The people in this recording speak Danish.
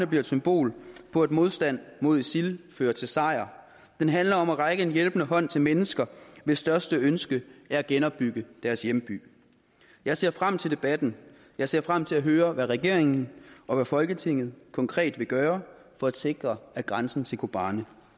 bliver et symbol på at modstand mod isil fører til sejr den handler om at række en hjælpende hånd til mennesker hvis største ønske er at genopbygge deres hjemby jeg ser frem til debatten jeg ser frem til at høre hvad regeringen og hvad folketinget konkret vil gøre for at sikre at grænsen til kobani